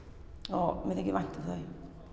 og mér þykir vænt um þau